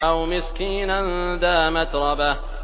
أَوْ مِسْكِينًا ذَا مَتْرَبَةٍ